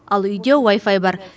ал үйде уай фай бар